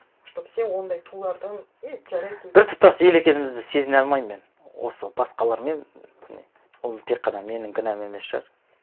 чтобы сен ондай тулардан біртұтас ел екенімізді сезіне алмаймын мен осы басқалармен және ол тек қана менің кінәм емес шығар